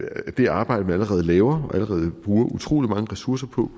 af det arbejde man allerede laver allerede bruger utrolig mange ressourcer på